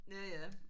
Ja ja